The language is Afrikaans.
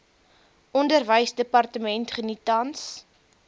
onderwysdepartement geniet tans